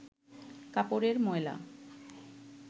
কাপড়ের ময়লা